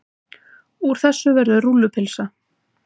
Úr þessu verður rúllupylsa.